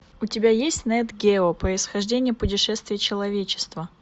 у тебя есть нэт гео происхождение путешествие человечества